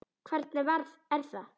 Hvernig er það?